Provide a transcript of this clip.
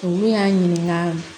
Olu y'a ɲininka